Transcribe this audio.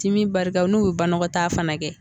Dimi barika n'u bi banakɔta fana kɛ